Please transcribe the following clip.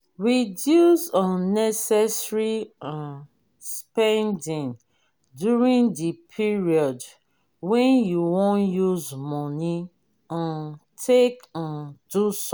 reduce unnecessary um spending during di period wey you wan use money um take um do something